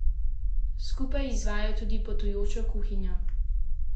Skupaj izvajajo tudi potujočo kuhinjo.